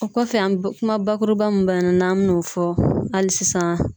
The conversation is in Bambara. O kɔfɛ an kuma bakuruba mun bɛ yan nɔ n'an bɛn'o fɔ hali sisan.